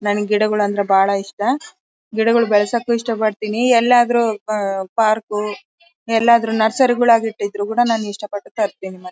ನಂಗೆ ಗಿಡಗಳೆಂದರೆ ಬಾಳ ಇಷ್ಟ ಗಿಡಗಳನ್ನು ಬೆಳೆಸಕು ಇಷ್ಟ ಪಡ್ತೀನಿ ಎಲ್ಲಾದ್ರೂ ಪಾರ್ಕ್ ಎಲ್ಲಾದ್ರೂ ನರ್ಸರಿ ಗುಳ ಗಿಟ್ಟಿದ್ರು ಕೂಡ ನಾನು ಇಷ್ಟ ಪಟ್ಟು ತರ್ತೀನಿ.